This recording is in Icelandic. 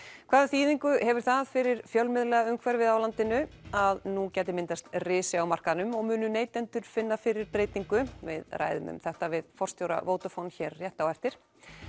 hvaða þýðingu hefur það fyrir fjölmiðlaumhverfið í landinu að nú gæti myndast risi á markaðnum og munu neytendur finna fyrir breytingu við ræðum um þetta við forstjóra Vodafone hér rétt á eftir